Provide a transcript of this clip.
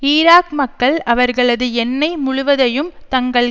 Iraq மக்கள் அவர்களது எண்ணெய் முழுவதையும் தங்கள்